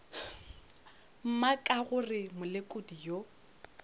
mma ka gore molekodi yo